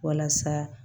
Walasa